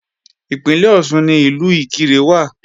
Ìpínlẹ̀ Ọ̀ṣun ni Ìlú Ìkirè wà